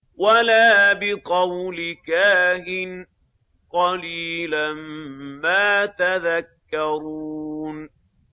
وَلَا بِقَوْلِ كَاهِنٍ ۚ قَلِيلًا مَّا تَذَكَّرُونَ